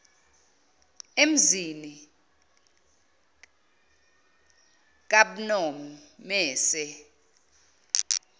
emzini kab nomese